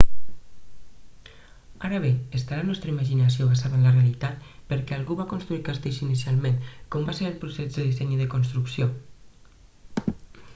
ara bé està la nostra imaginació basada en la realitat per què algú va construir castells inicialment com va ser el procés de disseny i de construcció